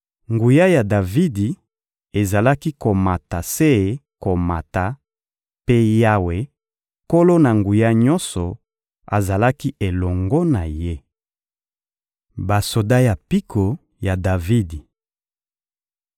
Nguya ya Davidi ezalaki komata se komata, mpe Yawe, Nkolo-Na-Nguya-Nyonso, azalaki elongo na ye. Basoda ya mpiko ya Davidi (2Sa 23.8-39; 1Ma 27.2-15)